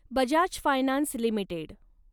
Bajaj finance limited